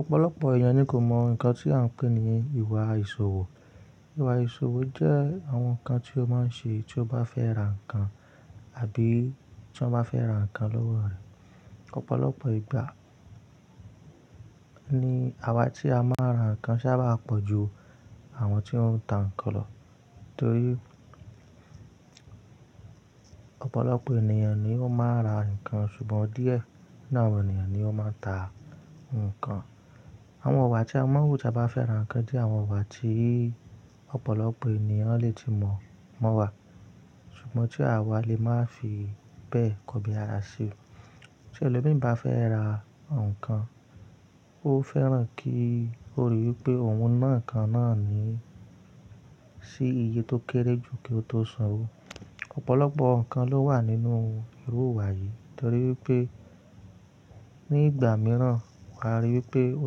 Ọ̀pọ̀lọpọ̀ èèyàn ni kò mọ̀ nǹkan tí a ń pè ní ìwà ìṣòwò. Ìwà ìṣòwò jẹ́ àwọn nǹkan tí o máa ń ṣe tí o bá fẹ́ ra nǹkan àbí tí wọ́n bá fẹ́ ra nǹkan lọ́wọ́ rẹ. Ọ̀pọ̀lọpọ̀ ìgbà ni àwa tí a máa ra nǹkan sábàa pọ̀ ju àwọn tí ó ń ta nǹkan lọ torí, ọ̀pọ̀lọpọ̀ ènìyàn ni ó máa ra nǹkan, ṣùgbọ́n díẹ̀ nínú àwọn ènìyàn ni ó máa ń ta nǹkan. Àwọn iwà tí a wọ̀, tí a bá fẹ́ ra nǹkan jẹ́ àwọn iwà tí ọ̀pọ̀lọpọ̀ ènìyàn lè tí mọ̀ mọ́wa, ṣùgbọ́n tí àwa lè má fi bẹ́ẹ̀ kòbí ara ṣi. Tí ẹlòmí bá fẹ́ ra nǹkan, ó fẹ́ràn kí ó ríi wí pé òun náà kan náà ni sí iye tó kéré jù kí ó tó sanwó. Ọ̀pọ̀lọpọ̀ nǹkan ló wà nínú irú iwà yìí, torí pé ní ìgbà mìíràn wà á ríi wí pé, o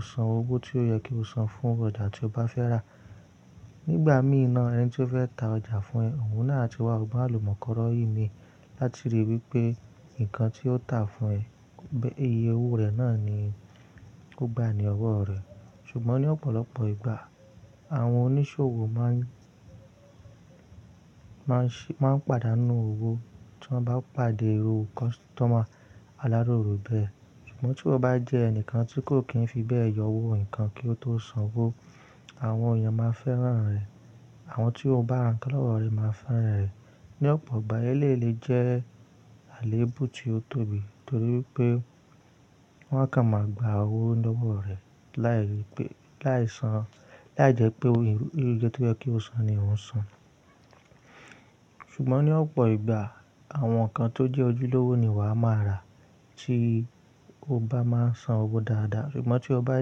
san owó tí ó yẹ kí o san fún ọjà tí o bá fẹ́ rà. Nígbà míne ẹni tí ó fẹ́ ta ọjà fún ẹ, òun náà ti wá ọgbọ́n àlùmọ́nkọ́ró yìí mi láti rí wí pé nǹkan tí ó tà fún ẹ, iye owó rẹ̀ náà ni kó gba ní ọwọ́ rẹ̀. Ṣùgbọ́n ní ọ̀pọ̀lọpọ̀ ìgbà, àwọn oníṣòwò máa ń pàdánù owó tí wọ́n bá pàdé iru costumer aláròrò bẹ́ẹ̀. Ṣùgbọ́n, tí wo bá jẹ́ ẹnìkan tí kò kì í fi bẹ́ẹ̀ yọ owó nǹkan, kí o tó sanwó, àwọn èèyàn máa fẹ́ràn rẹ̀. Àwọn tí o bá ra nǹkan lọ́wọ́ rẹ máa fẹ́ràn rẹ̀. Ní ọ̀pọ̀ ìgbà, eléyii le jẹ́ àléébù tí ó tóbi, torí wipé wọ́n kàn máa gba owó lọ́wọ́ rẹ̀, láì jẹ́ pé irú iye tí ó yẹ kí ó san, ni òun san. Ṣùgbọ́n ní ọ̀pọ̀ ìgbà, àwọn nǹkan tó jẹ́ ojúlówó ni wà á máa rà, tí o bá máa ń san owó dáadáa. Ṣùgbọ́n tí o bá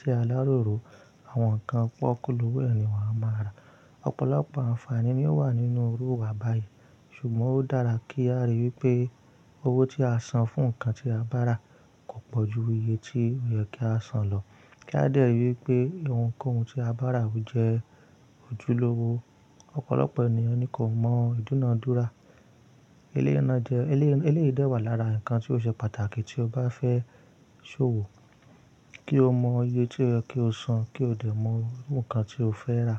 jẹ́ aláròrò, àwọn nǹkan pọ́kúlowò ẹ́ ni wà á máa rà. Ọ̀pọ̀lọpọ̀ àǹfààní ni ó wà nínú irú iwà báyìí, ṣùgbọ́n ó dára kí a rí wípé owó tí a san fún nǹkan tí a bá rà kò pọ̀ ju iye tí ó yẹ kí a san lọ, kí a dẹ́rì wípé ohunkóhun tí a bá rà ò jẹ́ ojúlówó. Ọ̀pọ̀lọpọ̀ ènìyàn ni kò mọ̀ ìdúnedúrà. Eléyi dẹ́wà lára nǹkan tí ó ṣe pàtàkì tí o bá fẹ́ ṣòwò, kí o mọ iye tí ó yẹ kí o san, kí o dẹ̀ mọ irun kan tí o fẹ́ rà.